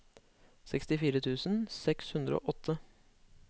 sekstifire tusen seks hundre og åtte